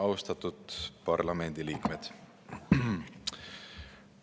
Austatud parlamendiliikmed!